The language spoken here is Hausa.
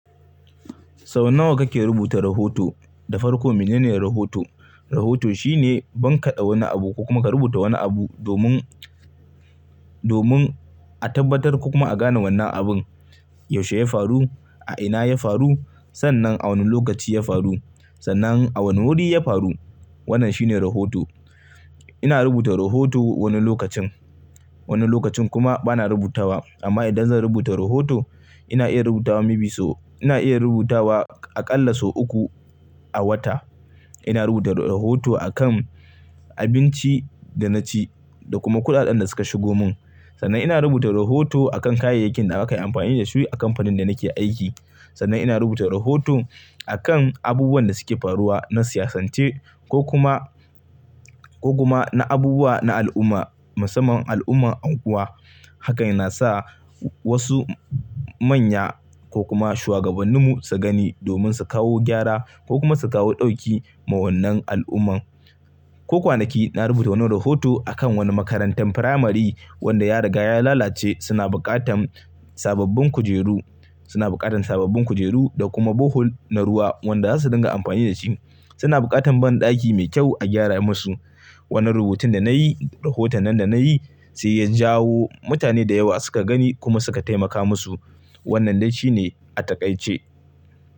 Sau nawa kake rubuta rahoto da farko menene rahoto? Rahoto shine ban ka ɗa wani abu ko kuma ka rubuta wani abu domin, domin a tabbatar ko kuma a gane wannan abun yaushe ya faru, a ina ya faru, sannan a wane lokaci ya faru, sannan a wane wuri ya faru. Wannan shine rahoto. Ina rubuta rahoto wani lokacin, wani lokacin kuma bana rubutawa. Amma idan zan rubuta rahoto ina iya rubutawa mebi sau, ina iya rubutawa aƙalla sau uku a wata. Ina rubuta rahoto a kan abinci da na ci da kuma kuɗaɗen da suka shigo mun. Sannan ina rubuta rahoto a kan kayayyakin da aka yi amfani da su a kamfanin da nake aiki. Sannan ina rubuta rahoto a kan abubuwan da suke faruwa na siyasance ko kuma, ko kuma na abubuwa na al'umma, musamman al'ummar anguwa. Hakan yana sa wasu manya ko kuma shugabanninmu su gani domin su kawo gyara ko kuma su kawo ɗauki ma wannan al'umman. Ko kwanaki na rubuta wani rahoto a kan wani makarantar firamari wanda ya riga ya lalace. Suna buƙatan sababbin kujeru, suna buƙatan sababbin kujeru da kuma bohol na ruwa wanda zasu dinga amfani da shi. Suna buƙatan banɗaki mai kyau a gyara musu. Wannan rubutun da na yi, rahoton nan da na yi sai ya jawo mutane da yawa suka gani kuma suka taimaka musu. Wannan dai shi ne a taƙaice.